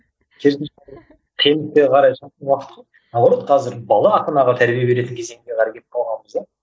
наоборот қазір бала ата анаға тәрбие беретін кезеңге қарай кетіп қалғанбыз да